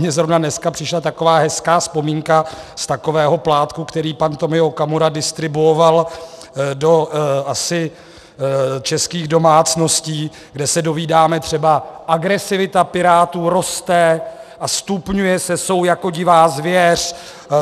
Mně zrovna dneska přišla taková hezká vzpomínka z takového plátku, který pan Tomio Okamura distribuoval asi do českých domácností, kde se dovídáme třeba: Agresivita Pirátů roste a stupňuje se, jsou jako divá zvěř.